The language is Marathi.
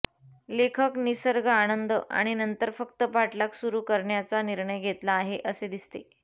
लेखक निसर्ग आनंद आणि नंतर फक्त पाठलाग सुरू करण्याचा निर्णय घेतला आहे असे दिसते